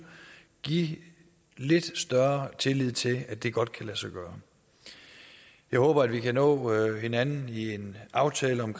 give lidt større tillid til at det godt kan lade sig gøre jeg håber at vi kan nå hinanden i en aftale om